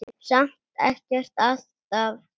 Samt ekkert alltaf.